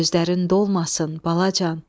Gözlərin dolmasın, balacan.